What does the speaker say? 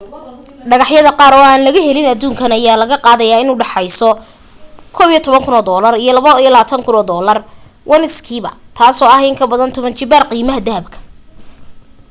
dhagax yada qaar oo aan laga helin aduunkan ayaa la gadaya in udhaxeyso us$11,000 ilaa $22,500 ounce-kiiba taaso ah in kabadan toban jibaar qiimaha dahabka